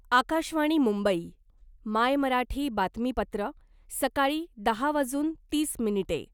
आकाशवाणी मुंबई मायमराठी बातमीपत्र सकाळी दहा वाजून तीस मिनिटे